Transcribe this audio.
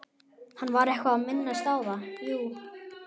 Hann var eitthvað að minnast á það, jú.